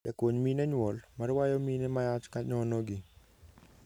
Jakonymine nyuol, marwayo mine mayach kanyonogi.